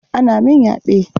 An min yaɓe.